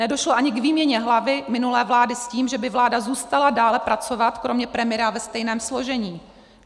Nedošlo ani k výměně hlavy minulé vlády s tím, že by vláda zůstala dále pracovat kromě premiéra ve stejném složení.